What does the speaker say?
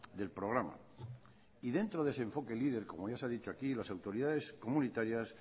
del programa y dentro de ese enfoque leader como ya se ha dicho aquí las autoridades comunitarias